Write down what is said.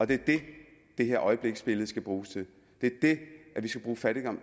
det er det det her øjebliksbillede skal bruges til det